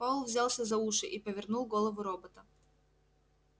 пауэлл взялся за уши и повернул голову робота